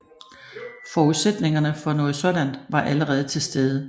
Forudsætningerne for noget sådan var allerede til stede